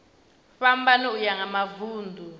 fhambana uya nga mavun ḓu